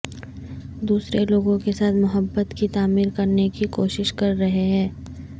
دوسرے لوگوں کے ساتھ محبت کی تعمیر کرنے کی کوشش کر رہے ہیں